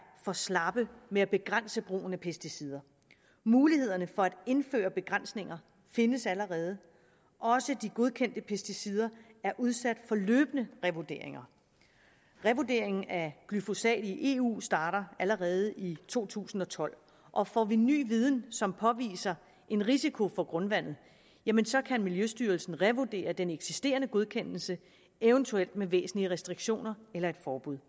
for slappe med at begrænse brugen af pesticider mulighederne for at indføre begrænsninger findes allerede også de godkendte pesticider er udsat for løbende revurderinger revurderingen af glyfosat i eu starter allerede i to tusind og tolv og får vi ny viden som påviser en risiko for grundvandet jamen så kan miljøstyrelsen revurdere den eksisterende godkendelse eventuelt med væsentlige restriktioner eller et forbud